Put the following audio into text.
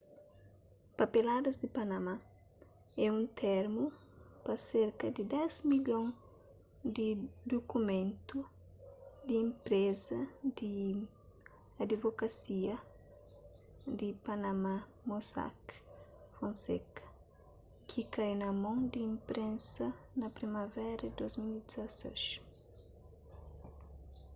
papeladas di panama é un termu pa serka di dés milhon di dukumentu di enpreza di adivokasia di panama mossack fonseca ki kai na mon di inprensa na primavera di 2016